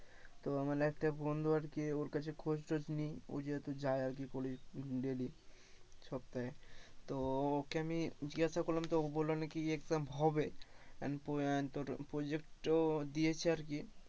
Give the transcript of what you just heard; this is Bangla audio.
তো আমার একটা বন্ধু আর কি ওর কাছে খোঁজ টোজ নি, ও যেহেতু যায় আরকি daily সপ্তাহে তো ওকে আমি জিজ্ঞাসা করলাম তো ও বললো নাকি exam হবে তোর project এও দিয়েছে আর কি,